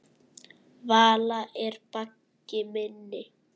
Vala er baggi minni.